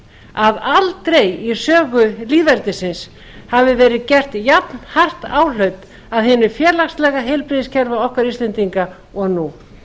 að aldrei í sögu lýðveldisins hafi verið gert jafnhart áhlaup að hinu félagslega heilbrigðiskerfi okkar íslendinga og nú